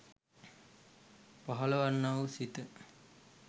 පහළවන්නා වූ සිත